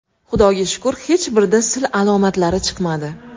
Xudoga shukr, hech birida sil alomatlari chiqmadi.